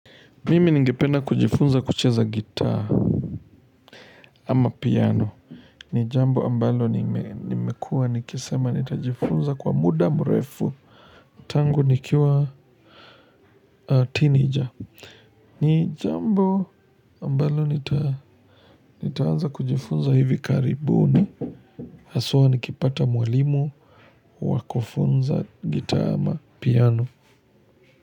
Mimi ningependa kujifunza kucheza gitaa ama piano. Nijambo ambalo nimekua nikisema nitajifunza kwa muda mrefu. Tangu nikiwa kijana. Ni jambo ambalo nitaanza kujifunza hivi karibuni. Haswa nikipata mwalimu wa kufunza gitaa ama piano.